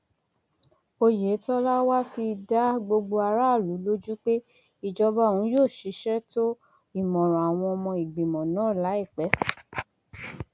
oyetola wàá fi dá gbogbo aráàlú lójú pé ìjọba òun yóò ṣiṣẹ tó ìmọràn àwọn ọmọ ìgbìmọ náà láìpẹ